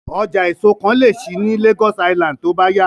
Ọjà èso kan lè ṣí ní Lagos Island tó bá yá